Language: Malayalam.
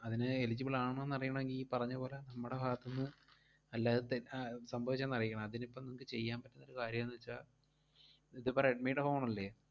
അതിന് eligible ആണോന്ന് അറിയണോങ്കി ഈ പറഞ്ഞ പോലെ നമ്മടെ ഭാഗത്തു നിന്ന്, അല്ലാതെ തെ~ ആഹ് സംഭവിച്ചയാന്ന് അറിയിക്കണം. അതിനിപ്പം നിങ്ങക്ക് ചെയ്യാൻ പറ്റുന്നൊരു കാര്യം എന്തുവെച്ചാ ഇതിപ്പം റെഡ്‌മിടെ phone അല്ലേ?